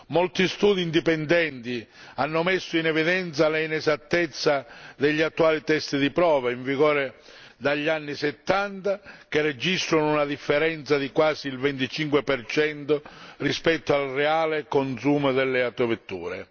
Molti studi indipendenti hanno messo in evidenza l'inesattezza degli attuali test di prova, in vigore dagli anni '70, che registrano una differenza di quasi il 25 rispetto al reale consumo delle autovetture.